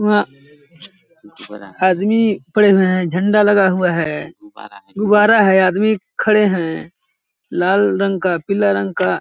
वहां आदमी पड़े हुए हैं झंडा लगा हुआ है गुबारा है आदमी खड़े हैं लाल रंग का पीला रंग का --